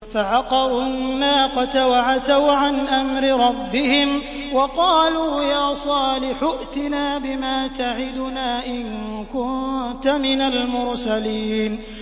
فَعَقَرُوا النَّاقَةَ وَعَتَوْا عَنْ أَمْرِ رَبِّهِمْ وَقَالُوا يَا صَالِحُ ائْتِنَا بِمَا تَعِدُنَا إِن كُنتَ مِنَ الْمُرْسَلِينَ